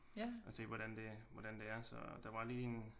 Og se hvordan det hvordan det er der var lige en